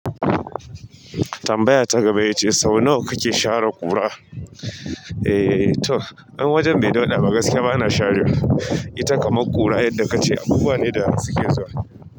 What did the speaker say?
Tambaya ta gaba ya ce sau nawa kake share ƙura? Eh to, an wajen bai dauɗa, ba gaske ba na sharewa ita kamar ƙura yadda ka ce. Abubuwa ne da suke zuwa.